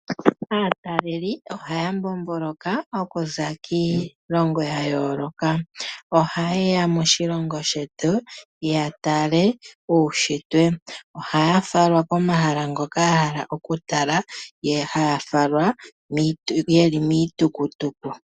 Aataleli oha ya mbomboloka okuza kiilongo ya yooloka . Oha yeya moshilongo shetu ya tale uushitwe. Ohaya falwa komahala ngoka ya hala okutala ha ya falwa ye li miitukutuku .